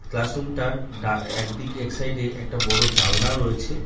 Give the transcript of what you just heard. Class room টার একদিকে এক সাইড এ একটা বড়ো জানলা রয়েছে।